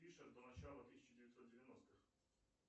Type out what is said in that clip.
пишет до начала тысяча девятьсот девяностых